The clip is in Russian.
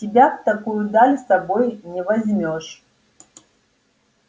тебя в такую даль с собой не возьмёшь